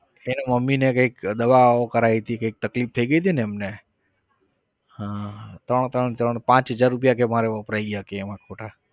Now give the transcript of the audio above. કે એની મમ્મીને કઈંક દવાઓ કરાવી હતી કઈંક તકલીફ થઇ ગઈ હતી ને એમને. હા ત્રણ ત્રણ ત્રણ પાંચ હજાર રૂપિયા કહે કે મારે વપરાઈ ગયા કે એમાં ખોટા.